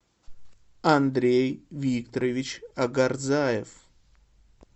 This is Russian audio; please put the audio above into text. андрей викторович агарзаев